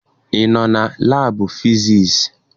Ị nọ na laabụ fisiisi?